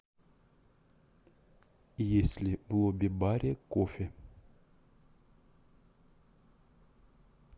есть ли в лобби баре кофе